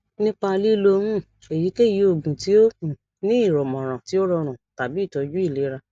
nipa lilo um eyikeyi oogun ti o um ni imọran ti o rọrun tabi itọju ilera